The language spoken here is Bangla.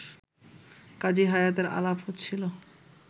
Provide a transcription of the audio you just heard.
কাজী হায়াতের আলাপ হচ্ছিল